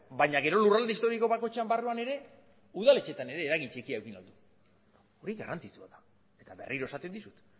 baina gero lurralde historiko bakoitzaren barruan ere udaletxeetan ere eragin txiki eduki dabe hori garrantzitsua da eta berriro esaten dizut